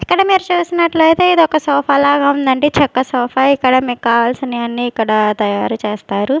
ఇక్కడ మీరు చూసినట్లయితే ఇది ఒక సోఫా లాగా ఉందండి చెక్క సోఫా ఇక్కడ మీకు కావాల్సిన అన్నీ ఇక్కడ తయారుచేస్తారు.